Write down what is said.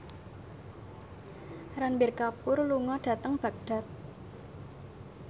Ranbir Kapoor lunga dhateng Baghdad